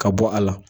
Ka bɔ a la